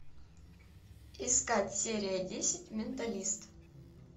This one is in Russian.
искать серия десять менталист